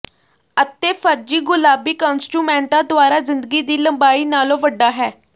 ਅਤੇ ਫ਼ਰਜੀ ਗੁਲਾਬੀ ਕੰਸਟੁਮੈਂਟਾਂ ਦੁਆਰਾ ਜ਼ਿੰਦਗੀ ਦੀ ਲੰਬਾਈ ਨਾਲੋਂ ਵੱਡਾ ਹੈ